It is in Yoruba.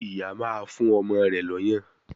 Ìyá máa ń fún ọmọ rẹ̀ l'ọ́yàn